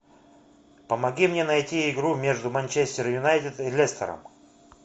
помоги мне найти игру между манчестер юнайтед и лестером